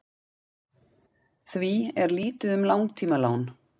því er lítið um langtímalán